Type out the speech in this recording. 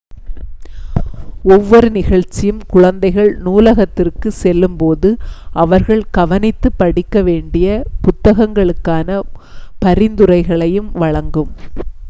ஒவ்வொரு நிகழ்ச்சியும் குழந்தைகள் நூலகத்திற்குச் செல்லும்போது அவர்கள் கவனித்துப் படிக்கவேண்டிய புத்தகங்களுக்கான பரிந்துரைகளையும் வழங்கும்